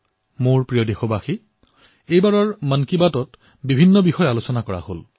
মোৰ মৰমৰ দেশবাসীসকল এইবাৰৰ মন কী বাতত বহু বিষয়ৰ ওপৰত চৰ্চা কৰা হল